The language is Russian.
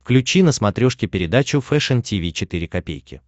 включи на смотрешке передачу фэшн ти ви четыре ка